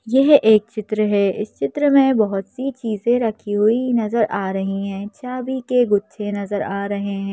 यह एक चित्र है इस चित्र में बहुत सी चीजें रखी हुई नजर आ रही है चाबी के गुच्छे नजर आ रहे हैं।